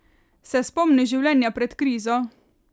Se spomniš življenja pred krizo?